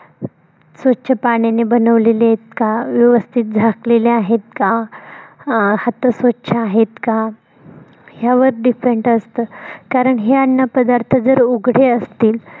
स्वछ पाण्याने बनवलेले आहेत का? व्यवस्थित घासलेले आहेत का? अं हात स्वछ आहेत का? यावर depend असत. कारण हे अन्न पदार्थ जर, उघडे असतील.